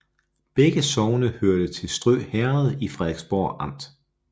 Begge sogne hørte til Strø Herred i Frederiksborg Amt